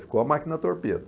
Ficou a máquina torpedo.